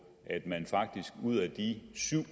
at man faktisk ud af de syv